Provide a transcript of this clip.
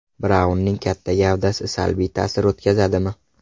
Braunning katta gavdasi salbiy ta’sir o‘tkazadimi?